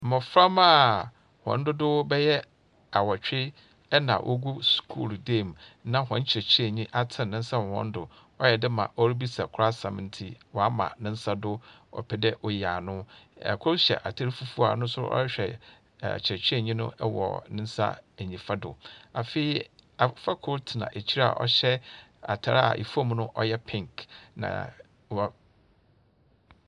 Mmofra mma wɔn dodoɔ bɛyɛ awotwe na wɔgu sukuu dan mu na wɔn kyerɛkyerɛni atene ne nsa wɔ wɔn do, wɔyɛ dɛma ɔrebisa koro asɛm nti wa ama ne nsa do wɔpɛ de ɔyi ano. Ɛkoro hyɛ ataade fufuo ɔno nso ɔrehwɛ ɔkyerɛkyerɛni no wɔ ne nsa nifa do. Afei abofra koro tena akyire na ɔhyɛ ataade ɛfɔm no ɔyɛ penk.